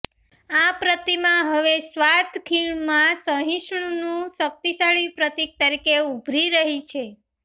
આ પ્રતિમા હવે સ્વાત ખીણમાં સહિષ્ણુનું શક્તિશાળી પ્રતિક તરીકે ઉભરી રહી છે